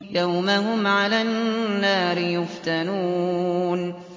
يَوْمَ هُمْ عَلَى النَّارِ يُفْتَنُونَ